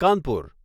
Kanpur